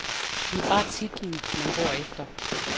Det er bare titlen, man går efter.